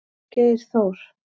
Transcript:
Geir Þór.